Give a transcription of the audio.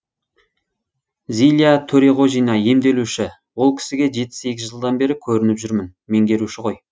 зиля төреғожина емделуші ол кісіге жеті сегіз жылдан бері көрініп жүрмін меңгеруші ғой